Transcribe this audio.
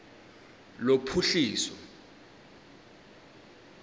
lophuhliso